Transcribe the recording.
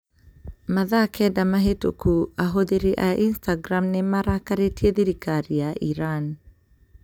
Mathaa kenda mahĩtũku ahũthĩri a Instagram nĩ marakarĩtie thirikari ya Iran.